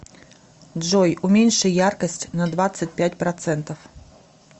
джой уменьши яркость на двадцать пять процентов